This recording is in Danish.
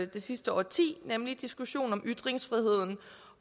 det sidste årti nemlig diskussionen om ytringsfriheden